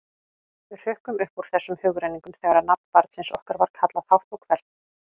Við hrukkum upp úr þessum hugrenningum þegar nafn barnsins okkar var kallað hátt og hvellt.